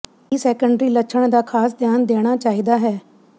ਇਹ ਸੈਕੰਡਰੀ ਲੱਛਣ ਦਾ ਖਾਸ ਧਿਆਨ ਦੇਣਾ ਚਾਹੀਦਾ ਹੈ